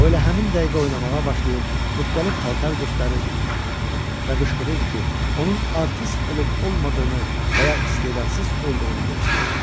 O elə həmin dəqiqə oynamağa başlayır, müxtəlif paltar göstərir və qışqırırdı ki, onun artist olub-olmadığını və ya istedadsız olduğunu deyək.